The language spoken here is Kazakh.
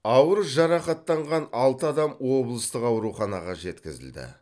ауыр жарақаттанған алты адам облыстық ауруханаға жеткізілді